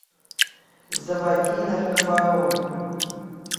заводи наркобарон